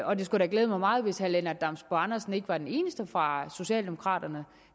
og det skulle glæde mig meget hvis herre lennart damsbo andersen ikke var den eneste fra socialdemokraterne